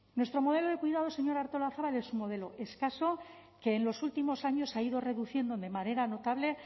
nuestro modelo de cuidados señora artolazabal es un modelo escaso que en los últimos años ha ido reduciendo de manera notable